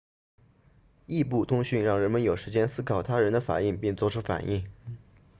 异步通讯让人们有时间思考他人的反应并作出反应